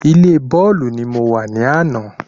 Ilé bọ́ọ̀lù ní mo wa ní àná